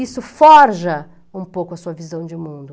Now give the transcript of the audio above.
Isso forja um pouco a sua visão de mundo.